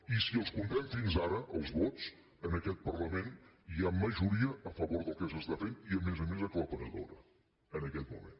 i si els comptem fins ara els vots en aquest parlament hi ha majoria a favor del que s’està fent i a més a més aclaparadora en aquest moment